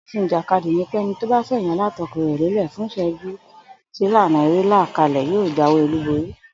Òfin ìjàkadì ni pẹ́ni tó fè̩yìn alátakò rè̩ lélè̩ fúnye ìs̩é̩jú tílànà eré là kalè̩ yóò jáwé olúborí